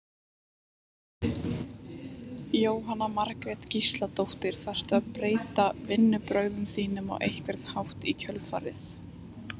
Jóhanna Margrét Gísladóttir: Þarftu að breyta vinnubrögðum þínum á einhvern hátt í kjölfarið?